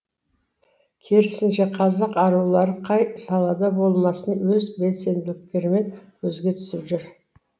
керісінше қазақ арулары қай салада болмасын өз белсенділіктерімен көзге түсіп жүр